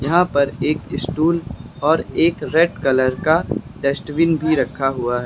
यहां पर एक स्टूल और एक रेड कलर का डस्टबिन भी रखा हुआ है।